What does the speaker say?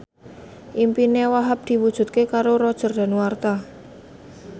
impine Wahhab diwujudke karo Roger Danuarta